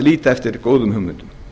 líta eftir góðum hugmyndum